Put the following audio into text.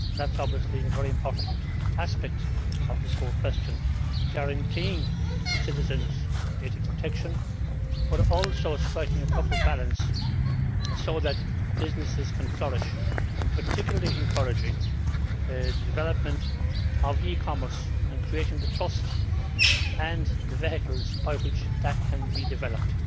That is obviously a very important aspect of this whole question guaranteeing citizens' data protection while also striking a proper balance so that businesses can flourish, particularly, encouraging the development of e commerce and creating the trust and vehicles by which that can be developed.